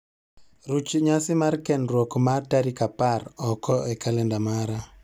Ruch nyasi mar kendruok ma tarik apar oko e kalenda mara